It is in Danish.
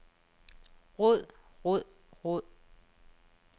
råd råd råd